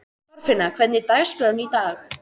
Þorfinna, hvernig er dagskráin í dag?